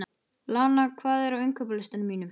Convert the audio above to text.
Lana, hvað er á innkaupalistanum mínum?